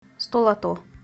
столото